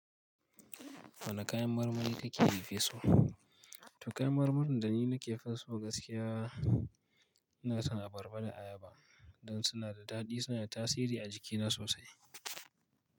Wane kayan marmari kake fiya so? To kayan marmarin da ni nake finso gaskiya ina son abarba da ayaba don suna da daɗi suna da tasiri a jikina sosai.